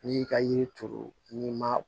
N'i y'i ka yiri turu n'i ma